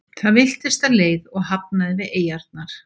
Það villtist af leið og hafnaði við eyjarnar.